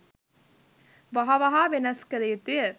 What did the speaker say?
වහ වහා වෙනස් කළ යුතුය